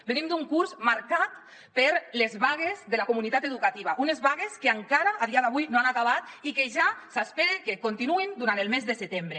venim d’un curs marcat per les vagues de la comunitat educativa unes vagues que encara a dia d’avui no han acabat i que ja s’espera que continuïn durant el mes de setembre